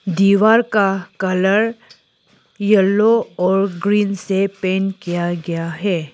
दीवार का colour yellow और ग्रीन से पेंट किया गया है।